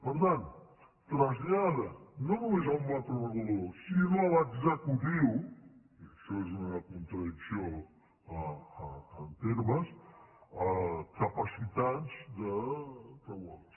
per tant trasllada no no·més al macroregulador sinó a l’executiu i això és una contradicció en termes capacitats reguladores